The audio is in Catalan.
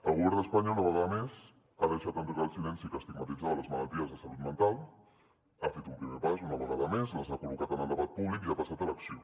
el govern d’espanya una vegada més ha deixat enrere el silenci que estigmatitzava les malalties de salut mental ha fet un primer pas una vegada més les ha col·locat en el debat públic i ha passat a l’acció